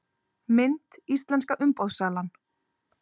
Mynd: Íslenska umboðssalan